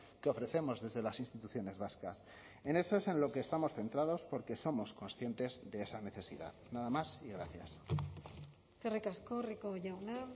que ofrecemos desde las instituciones vascas en eso es en lo que estamos centrados porque somos conscientes de esa necesidad nada más y gracias eskerrik asko rico jauna